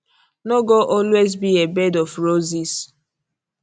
no go always be a bed of roses